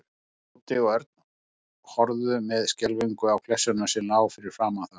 Tóti og Örn horfðu með skelfingu á klessuna sem lá fyrir framan þá.